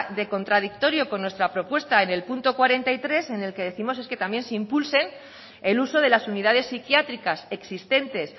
de contradictorio con nuestra propuesta en el punto cuarenta y tres en el que décimos es que también se impulsen el uso de las unidades psiquiátricas existentes